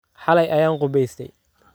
Xalay ayaan qubaystay.